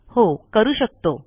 हो करू शकतो